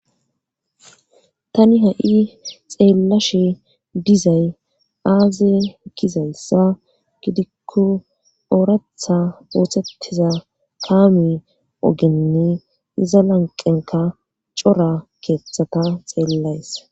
Tani ha7i xeellashe dizay aaze gizayssa gidikko ooratha ootettiza kaami ogenne iza lanqenka cora keeththata xeellays